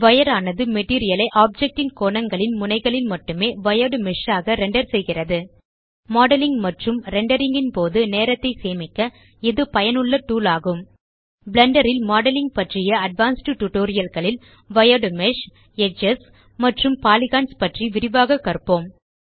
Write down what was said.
வைர் ஆனது மெட்டீரியல் ஐ ஆப்ஜெக்ட் ன் கோணங்களின் முனைகளில் மட்டும் வயர்ட் மேஷ் ஆக ரெண்டர் செய்கிறது மாடலிங் மற்றும் ரெண்டரிங் ன் போது நேரத்தை சேமிக்க இது பயனுள்ள டூல் ஆகும் பிளெண்டர் ல் மாடலிங் பற்றிய அட்வான்ஸ்ட் டியூட்டோரியல் களில் வயர்ட் மேஷ் எட்ஜஸ் மற்றும் பாலிகன்ஸ் பற்றி விரிவாக கற்போம்